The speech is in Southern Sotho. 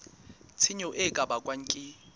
tshenyo e ka bakwang ke